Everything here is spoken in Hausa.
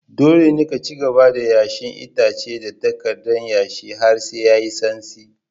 Dole ne ka cigaba da yashe itace da takardar yashe har sai yayi santsi.